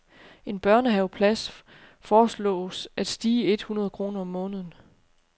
En børnehaveplads foreslås at stige et hundrede kroner om måneden.